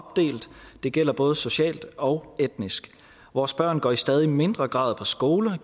det gælder både socialt og etnisk vores børn går i stadig mindre grad på skoler og